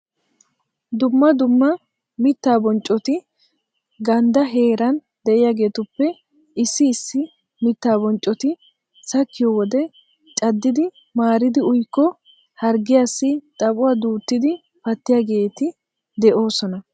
Dumma dumma mittaa bonccoti ganddaa heeran de'iyageetuppe issi issi mittaa bonccoti sakkiyo wode caddidi maaridi uyikko harggiyassi xaphuwa duuttidi pattiyageeti de'oosona.